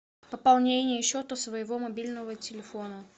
пополнение счета своего мобильного телефона